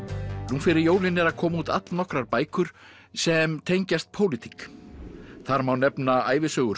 nú fyrir jólin eru að koma út all nokkrar bækur sem tengjast pólitík þar má nefna ævisögur